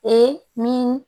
Ee min